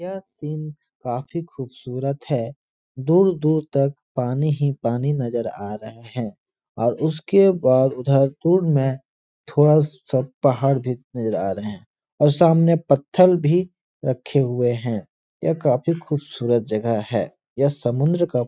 यह सीन काफी खूबसूरत है। दूर दूर तक पानी ही पानी नजर आ रहे हैं और उसके बाद उधर दूर में थोडा सा पहाड़ भी नजर आ रहे हैं और सामने पत्थर भी रखे हुए हैं। यह काफी खूबसूरत जगह है। यह समुन्द्र का --